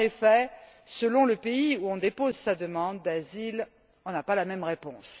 En effet, selon le pays où l'on dépose sa demande d'asile, on n'a pas la même réponse.